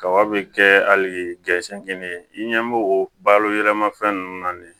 Kaba be kɛ hali ye i ɲɛ b'o o balo yɛlɛma fɛn nunnu na de